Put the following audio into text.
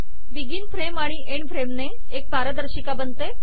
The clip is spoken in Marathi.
बिगिन फ्रेम एन्ड फ्रेम ने एक पारदर्शिका बनते